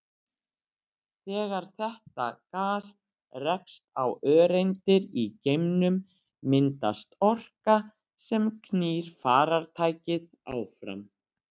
Þegar þetta gas rekst á öreindir í geimnum myndast orka sem knýr farartækið áfram.